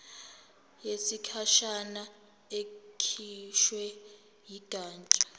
yesikhashana ekhishwe yigatsha